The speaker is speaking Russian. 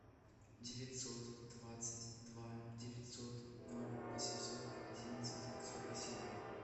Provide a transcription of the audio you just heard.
девятьсот двадцать два девятьсот ноль восемьсот одинадцать сорок семь